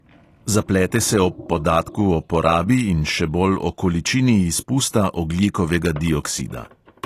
Zaplete se ob podatku o porabi in še bolj o količini izpusta ogljikovega dioksida.